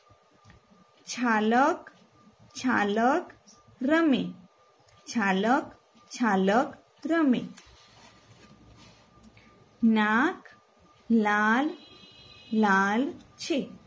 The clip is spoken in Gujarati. છાલક છાલક રમે છાલક છાલક રમ નાક લાલ લાલ છે